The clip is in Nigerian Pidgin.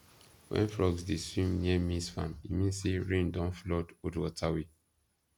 when frogs dey swim near maize farm e mean say rain don flood old water way